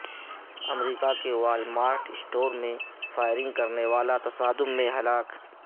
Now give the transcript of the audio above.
امریکہ کے Walmart store میں firing کرنے والا تصادم میں ہلاک